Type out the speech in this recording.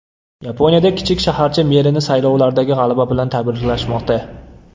Yaponiyada kichik shaharcha merini saylovlardagi g‘alaba bilan tabriklashmoqda.